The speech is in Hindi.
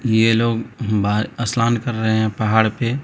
यह लोग बाहर स्नान कर रहे हैं पहाड़ पे--